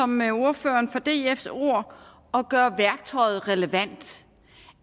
med ordføreren for dfs ord at gøre værktøjet relevant